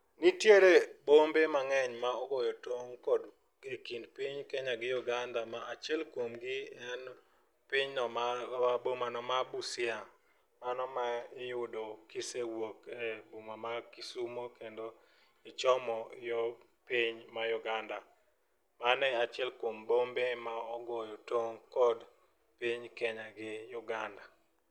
Nitiere bombe mang'eny ma ogoyo tong' e kind piny Kenya gi Uganda ma achiel kuomgi en pinyno ma bomano ma Busia, mano ma iyudo kisewuok e boma mar Kisumo kendo ichomo yo piny ma Uganda. Mano e achiel kuom bombe ma ogoyo tong' kod piny Kenya gi Uganda.